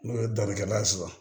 N'o ye dɔnnikɛla ye sisan